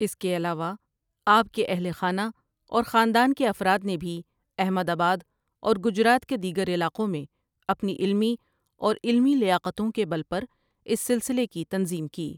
اس کے علاوہ آپ کے اہلِ خانہ اور خاندان کے افراد نے بھی احمد آباد اور گجرات کے دیگر علاقوں میں اپنی علمی اور عملی لیاقتوں کے بل پر اس سلسلے کی تنظیم کی ۔